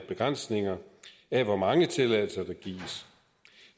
begrænsning af hvor mange tilladelser der gives